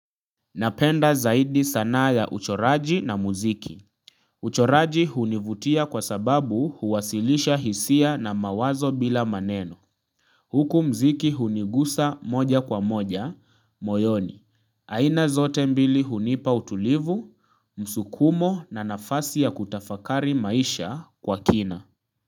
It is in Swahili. Napenda zaidi sanaa ya uchoraji na muziki. Uchoraji hunivutia kwa sababu huwasilisha hisia na mawazo bila maneno. Huku muziki hunigusa moja kwa moja, moyoni. Aina zote mbili hunipa utulivu, msukumo na nafasi ya kutafakari maisha kwa kina.